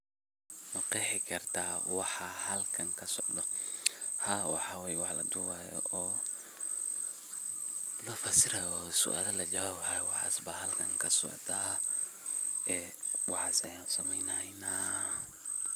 Maqeexi karta waxa halkan kasocdo, haa waxa wey wax la duubayo oo lafasiray oo suaalo la jawaab haayo waxas baa halkan kasocda ee waxas ayaan sameyneynaa.